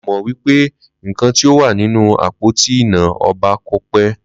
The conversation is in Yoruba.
Mí ò mọ̀ wípé nkan tí ó wà nínú àpótí iná ọba kòpé